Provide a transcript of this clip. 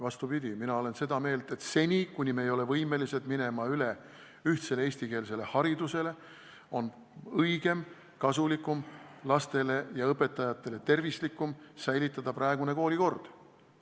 Vastupidi, mina olen seda meelt, et seni, kuni me ei ole võimelised minema üle ühtsele eestikeelsele haridusele, on õigem, lastele ja õpetajatele tervislikum ja kasulikum, kui säiliks praegune koolikord.